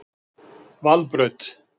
Valbraut